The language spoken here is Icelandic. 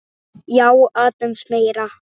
Já, aðeins meira.